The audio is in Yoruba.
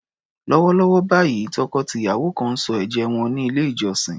Lọ́wọ́lọ́wọ́ báyìí, tọkọ-tìyàwó kan ń sọ ẹ̀jẹ́ wọn ní ilé-ìjọsìn.